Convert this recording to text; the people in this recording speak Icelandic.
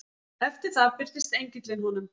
Eftir það birtist engillinn honum.